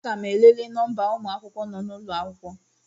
Aga m elele nọmba ụmụ akwụkwọ nọ n'ụlọ akwụkwọ